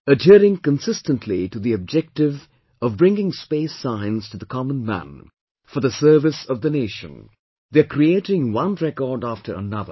Adhering consistently to the objective of bringing Space Science to the common man, for the service of the nation, they are creating one record after another